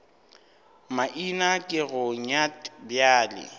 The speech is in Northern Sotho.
maina ke go nyat bjale